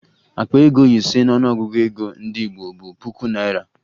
Akpa ego ise n'ọnụọgụgụ ego ndị Igbo bụ puku naịra